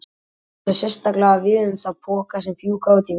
Þetta á sérstaklega við um þá poka sem fjúka út í veður og vind.